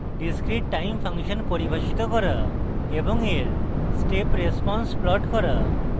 discrete time function পরিভাষিত করা এবং এর step response plot করা